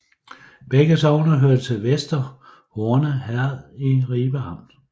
Begge sogne hørte til Vester Horne Herred i Ribe Amt